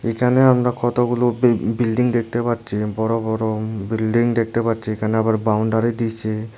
এখানে আমরা কতগুলো বি-বিল্ডিং দেখতে পাচ্ছি বড় বড় বিল্ডিং দেখতে পাচ্ছি এখানে আবার বাউন্ডারি দিসে।